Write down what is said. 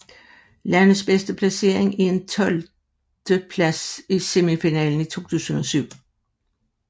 Landets bedste placering er en tolvteplads i semifinalen i 2007